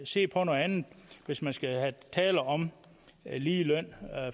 se på noget andet hvis man skal tale om lige løn